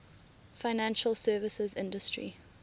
financial services industry